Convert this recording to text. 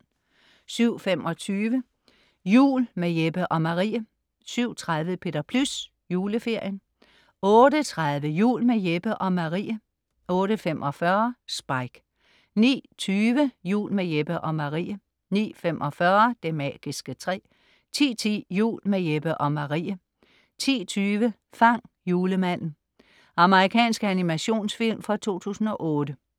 07.25 Jul med Jeppe og Marie 07.30 Peter Plys. Juleferien 08.30 Jul med Jeppe og Marie 08.45 Spike 09.20 Jul med Jeppe og Marie 09.45 Det magiske træ 10.10 Jul med Jeppe og Marie 10.20 Fang julemanden. Amerikansk animationsfilm fra 2008